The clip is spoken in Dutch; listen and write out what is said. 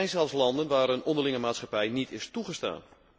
Er zijn zelfs landen waar een onderlinge maatschappij niet is toegestaan.